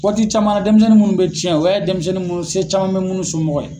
Waati caman na denmisɛnnin minnu bɛ cɛn o y'a ye denmisɛnnin munnu se caman bɛ munnu somɔgɔw ye.